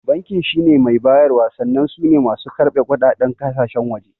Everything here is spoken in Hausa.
Bankin shine mai bayarwa sannan sune masu karɓe kuɗaɗen kasashen waje